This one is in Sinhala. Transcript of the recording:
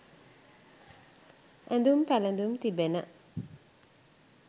ඇඳුම් පැළඳුම් තිබෙන